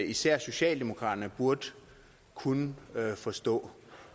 især socialdemokraterne burde kunne forstå